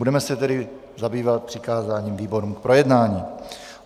Budeme se tedy zabývat přikázáním výborům k projednání.